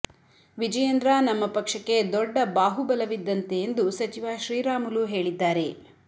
ವಿಜಯೇಂದ್ರ ನಮ್ಮ ಪಕ್ಷಕ್ಕೆ ದೊಡ್ಡ ಬಾಹುಬಲವಿದ್ದಂತೆ ಎಂದು ಸಚಿವ ಶ್ರೀರಾಮುಲು ಹೇಳಿದ್ದಾರೆ